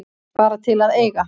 Bara til að eiga.